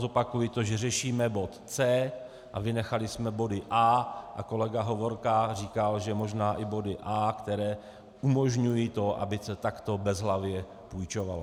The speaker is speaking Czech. Zopakuji to, že řešíme bod C a vynechali jsme body A a kolega Hovorka říkal, že možná i body A, které umožňují to, aby se takto bezhlavě půjčovalo.